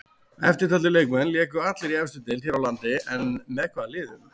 Eftirtaldir leikmenn léku allir í efstu deild hér á landi en með hvaða liðum?